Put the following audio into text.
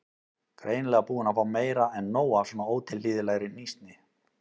Greinilega búin að fá meira en nóg af svona ótilhlýðilegri hnýsni.